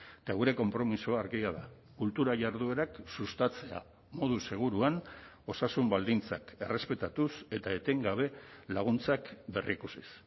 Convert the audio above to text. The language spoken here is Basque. eta gure konpromisoa argia da kultura jarduerak sustatzea modu seguruan osasun baldintzak errespetatuz eta etengabe laguntzak berrikusiz